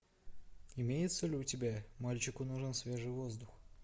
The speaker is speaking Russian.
имеется ли у тебя мальчику нужен свежий воздух